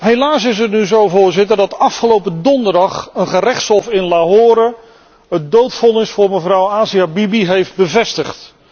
Helaas is het nu zo, Voorzitter, dat afgelopen donderdag een gerechtshof in Lahore, het doodvonnis tegen mevrouw Asia Bibi heeft bevestigd.